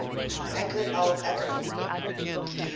anchor al ackerman